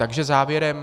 Takže závěrem.